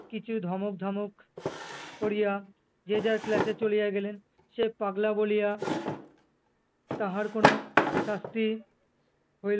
কিছু ধমক ধমক, করিয়া যে যার class এ চলিয়া গেলেন। সে পাগলা বলিয়া, তাহার কোনো শাস্তি হই